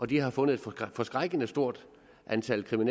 de har fundet et forskrækkelig stort antal